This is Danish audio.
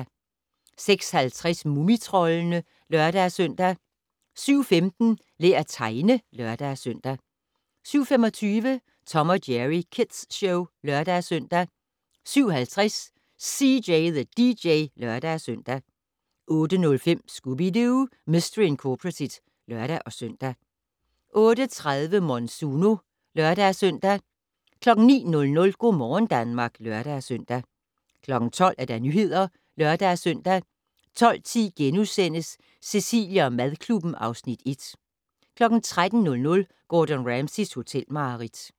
06:50: Mumitroldene (lør-søn) 07:15: Lær at tegne (lør-søn) 07:25: Tom & Jerry Kids Show (lør-søn) 07:50: CJ the DJ (lør-søn) 08:05: Scooby-Doo! Mistery Incorporated (lør-søn) 08:30: Monsuno (lør-søn) 09:00: Go' morgen Danmark (lør-søn) 12:00: Nyhederne (lør-søn) 12:10: Cecilie & madklubben (Afs. 1)* 13:00: Gordon Ramsays hotelmareridt